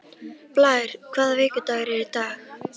Blær, hvaða vikudagur er í dag?